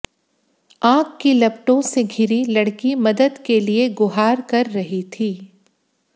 आग की लपटों से घिरी लड़की मदद के लिये गुहार कर रही थी